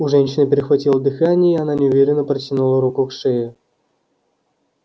у женщины перехватило дыхание и она неуверенно протянула руку к шее